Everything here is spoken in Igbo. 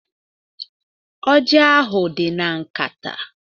Ọji ahụ dị na nkata.